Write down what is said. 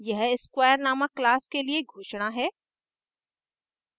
यह square named class के लिए घोषणा है